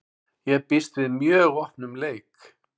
Ég býst við mjög opnum leik.